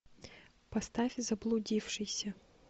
поставь заблудившийся